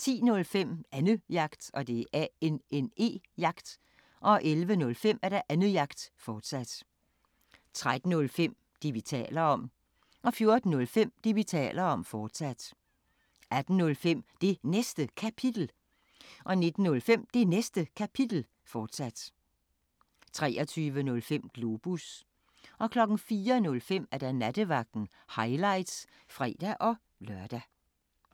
10:05: Annejagt 11:05: Annejagt, fortsat 13:05: Det, vi taler om 14:05: Det, vi taler om, fortsat 18:05: Det Næste Kapitel 19:05: Det Næste Kapitel, fortsat 23:05: Globus 04:05: Nattevagten – highlights (fre-lør)